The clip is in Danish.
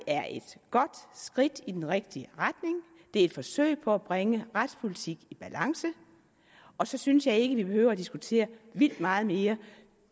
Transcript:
er et godt skridt i den rigtige retning det er et forsøg på at bringe retspolitikken i balance og så synes jeg ikke vi behøver at diskutere det vildt meget mere